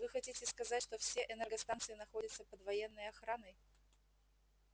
вы хотите сказать что все энергостанции находятся под военной охраной